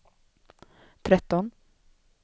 tretton